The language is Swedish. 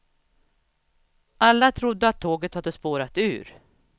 Alla trodde att tåget hade spårat ur.